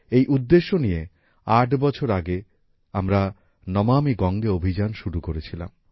এই উদ্দেশ্য নিয়ে আট বছর আগে আমরা নমামি গঙ্গে অভিযান শুরু করেছিলাম